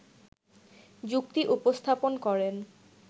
যুক্তি উপস্থাপন করেন